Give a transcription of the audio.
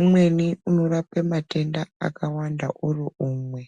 Umweni unorapa matenda akawanda uri umwe.